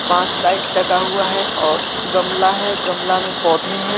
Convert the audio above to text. पांच लाईट लगा हुआ है और गमला है गमले में पौधे है।